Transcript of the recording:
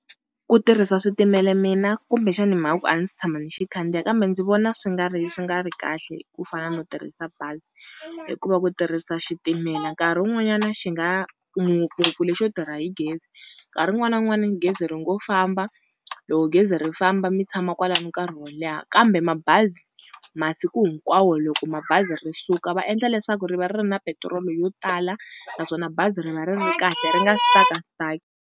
Ku tirhisa switimela mina kumbexani hi mhaka ku a ndzi si tshama ni xi khandziya kambe ndzi vona swi nga ri swi nga ri kahle ku fana no tirhisa bazi. Hikuva ku tirhisa xitimela nkarhi wun'wanyana xi nga ngopfungopfu lexo tirha hi gezi, nkarhi wun'wana na wun'wana gezi ri ngo famba, loko gezi ri famba mi tshama kwalani nkarhi wo leha. Kambe mabazi masiku hinkwawo loko mabazi ri suka va endla leswaku ri va ri ri na petirolo yo tala naswona bazi ri va ri ri kahle ri nga stuck-a stuck.